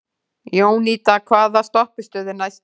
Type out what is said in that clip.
Jónída, hvaða stoppistöð er næst mér?